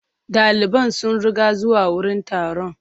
Daliban sun ruga zuwa wurin taron.